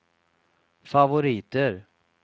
favoriter